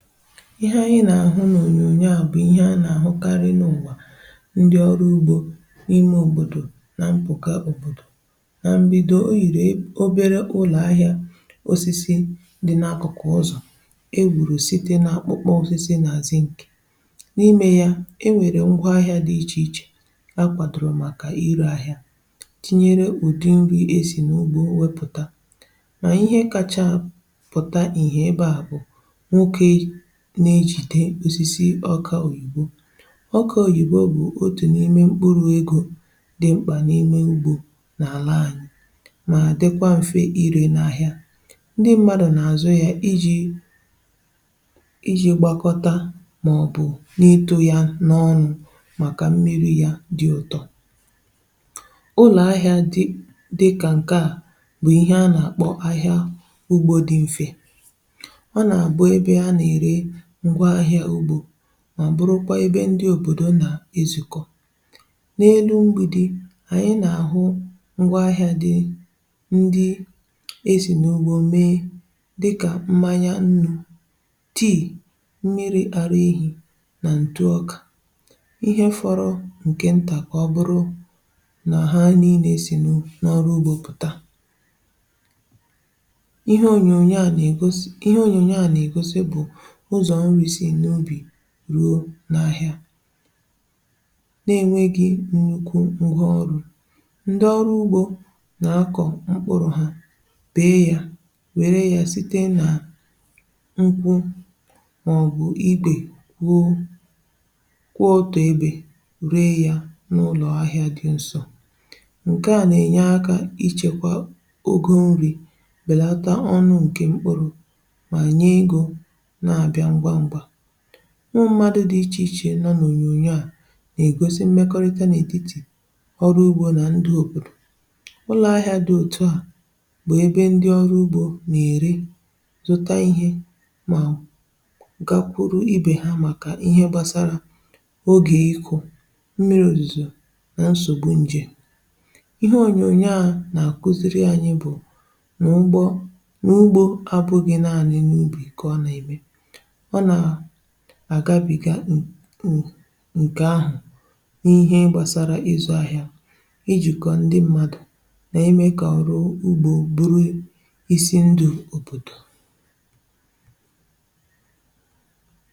Ihẹ anyị nà-àhụ n’ònyònyo à, bụ̀ ihẹ a nà-àhụkarị n’ụ̀gbà ndị ọrụ ugbȯ, um n’ime òbòdò nà mpụ̀kà òbòdò nà m̀bido. Ò yìrì obere ụlọ̀ ahịa osisi dị̇ n’akụ̀kụ̀, ọzọ̀ e wùrù site nà akpụkpọ osisi nàzi ǹkẹ̀. N’imė ya, e nwèrè ngwa ahịȧ dị iche iche a kwàdòrò màkà ịrị̇ ahịȧ, tinyere òdì nri e sì n’ugbȯ wepùta nà ihe kàchàpụ̀ta ihe. Ebe à bụ̀ n’ejì dị osisi ọka òyìbo — ọka òyìbo bụ̀ otu n’ime mkpụrụ egȯ dị mkpà n’ime ugbȯ n’àla anyị, um mà dịkwa mfe iré n’ahịa. Ndị mmadụ̀ nà àzụ ya iji gbakọta màọbụ̀ n’ịtụ̇ ya n’ọnụ̇, màkà mmiri̇ ya dị ụ̀tọ. Ụlọ̀ ahịa dị kà ǹkè a bụ̀ ihe a nà-àkpọ ahịa ugbȯ dị mfe, mà bụrụkwa ebe ndị òbòdo nà-ezùkọ. N’elu mgbidi, ànyị nà-àhụ ngwa ahịȧ dị — ndị esì n’ugbȯ mee — dịkà mmȧya, nnu̇, tea, mmiri̇ àrụ ehì, nà ǹtụọkà ihe fọrọ ǹke ǹtà, um kà ọ bụrụ nà ha niilė esì n’ọrụ ugbȯ pụ̀ta. Ihe ònyònyò a nà-ègosi, bụ̀ ruo n’ahịa na-enweghị̇ nnyokwu ọghọ̀rụ̀: ndị ọrụ ugbò na-akọ̀ mkpụrụ̀ ha, bèe yà, werė yà site nà nkwụ màọbụ̀ igbè, wuo kwụọ ọtọ̀, ebè ruo yà n’ụlọ̀ ahị̀a dị nsọ, nke à na-enye akà ichekwà ogo nri̇. Nke a belàtà ọnụ̀ nke mkpụrụ̀.Mụ̀madụ̇ dị iche iche nọ n’ònyònyo à nà-ègosi mmekọrịta n’ètitì ọrụ ugbȯ nà ndị òbòdò. Ụlọ̀ ahịa dị òtù a bụ̀ ebe ndị ọrụ ugbȯ nà-ère, zụta ihe, um mà gakwuru ibè ha, màkà ihe gbasara ogè ikȯ mmiri, òzùzò nà nsògbu ǹjè. Ihe ònyònyò à nà-àkuziri ànyị bụ̀ nà ugbȯ abụghị̇ naanị̇ n’ubì. Ọ kọwa nà ème ǹkè ahụ̀ n’ihe gbàsara ịzụ̇ ahịa, ijìkọ̀ ndị mmadụ̀, nà-ime kà ọrụ ugbȯ bụrụ ịsị ndụ̇ òbòdò.